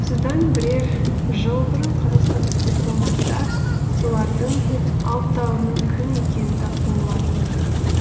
осыдан бірер жыл бұрын қазақстандық дипломаттар солардың алтауының кім екенін тапқан болатын